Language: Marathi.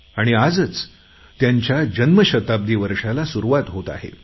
आणि आजच त्यांच्या जन्मशताब्दी वर्षाला सुरुवात होत आहे